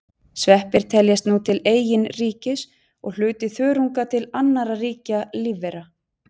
Sveppir teljast nú til eigin ríkis og hluti þörunga til annarra ríkja lífvera.